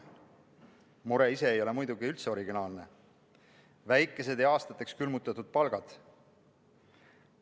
Mure ise ei ole muidugi üldse originaalne: väikesed ja aastateks külmutatud palgad.